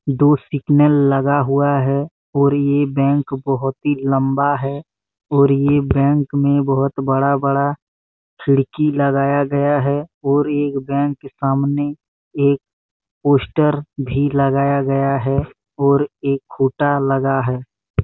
दो सिग्नल लगा हुआ है और ये बैंक बहुत ही लंबा है और ये बैंक में बहुत बड़ा बड़ा खिड़की लगाया गया है और यह बैंक के सामने एक पोस्टर भी लगाया गया है और एक खुटा लगा हैं।